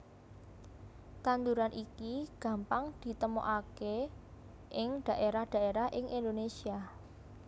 Tanduran iki gampang ditemokaké ing dhaérah dhaérah ing Indonésia